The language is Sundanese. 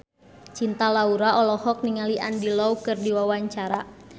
Cinta Laura olohok ningali Andy Lau keur diwawancara